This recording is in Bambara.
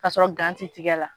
Ka sɔrɔ gan ti tigɛ la.